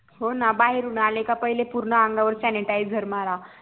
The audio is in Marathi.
हो ना बाहेरून आला का पहिले पूर्ण अंगावर sanitizer मारा